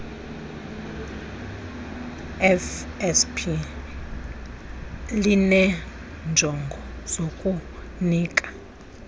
fsp lineenjongo zokunika